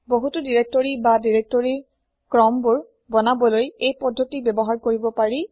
বহুতো দিৰেক্তৰি বা দিৰেক্তৰি ক্ৰমবোৰ বনাবলৈ এই পদ্ধতি ব্যৱহাৰ কৰিব পাৰি